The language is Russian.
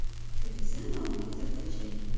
чудеса науки закачай